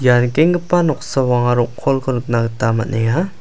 ia nikenggipa noksao anga rong·kolko nikna gita man·enga.